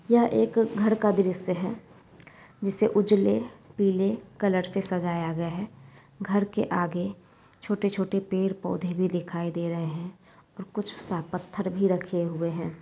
यह एक घर का दृश्य है जिसे उजले पीले कलर से सजाया गया है घर के आगे छोटे-छोटे पेड़-पौधे भी दिखाई दे रहे है । और कुछ साफ पत्थर भी रखे हुए है।